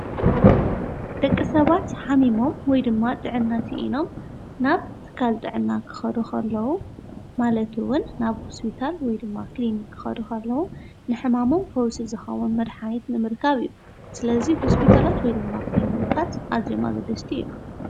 ደቂ ሰባት ኃሚሞም ወይ ድማ ጥእና ስኢኖም ናብ ትካልvጥዕና ክኸዱኸለዉ ማለቱውን ናብ ሕስቢታል ወይ ድማ ክሊኒ ክኸዱኸለዉ ንሕማሞም ፈውስ ዝኻቦን መድኃኒት ንምርካብ እዩ ስለዙይ ሆስቢታላት ወይ ድማ ክሊንምርቃት ኣዘመግድስቲ እዩ::